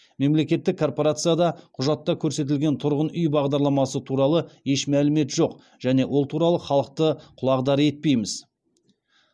мемлекеттік корпорацияда құжатта көрсетілген тұрғын үй бағдарламасы туралы еш мәлімет жоқ және ол туралы халықты құлағдар етпейміз